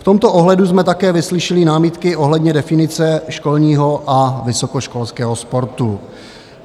V tomto ohledu jsme také vyslyšeli námitky ohledně definice školního a vysokoškolského sportu.